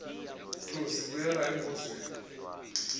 thozi buyela embuzweni